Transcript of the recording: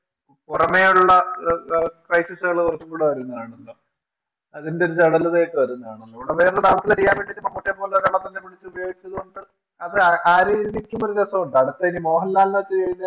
പുറമേയുള്ള ക്രൈസസുകൾ കുറച്ചുകൂടെ വരുന്നുണ്ട് ആ രീതിയിൽ നോക്കുമ്പോൾ ഒരു രസമുണ്ട്. അടുത്ത ഇനി മോഹൻലാലിനെ വച്ച് ചെയ്യുമ്പോൾ